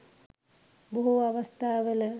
බොහෝ අවස්ථාවල